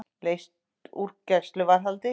Leyst úr gæsluvarðhaldi